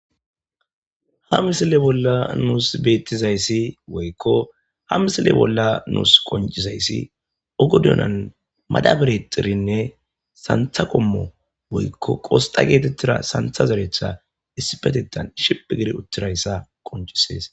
ha misile bolla nuus beettizayssi woykko ha misile bolla nuus qoncisayssi ogodunan madabirexirinne santha qommo woykko qosxa geetettira santha zeretha issi petetan shipi giri uttirayssa qoncisees